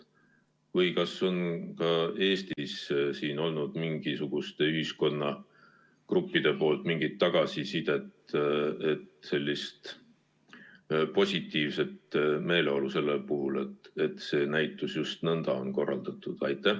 Või kas on Eestis olnud mingisugustelt ühiskonnagruppidelt mingit tagasisidet ja positiivset meeleolu selle puhul, et see näitus just nõnda on korraldatud?